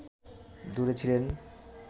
দূরে ছিলেন